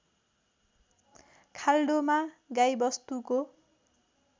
खाल्डोमा गाई वस्तुको